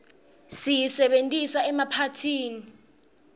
siyisebentisa emaphathini